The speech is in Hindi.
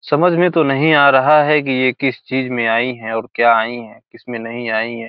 समझ में तो नहीं आ रहा है की ये किस चीज में आई है और क्या आई है किसमे नहीं आई है।